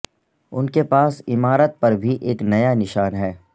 ان کے پاس عمارت پر بھی ایک نیا نشان ہے